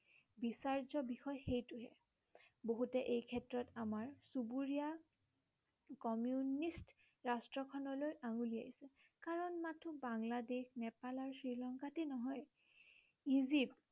বিচাৰ্য বিষয় সেইটোহে। বহুতে এই ক্ষেত্ৰত আমাৰ চুবুৰীয়া কমিউনিষ্ট ৰাষ্ট্ৰ খনলৈ আঙুলিয়াই। কাৰণ মাথো বাংলোদেশ নেপাল আৰু শ্ৰীলংকাতেই নহয় ইজিপ্ত